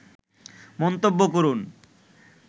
মন্তব্য করুন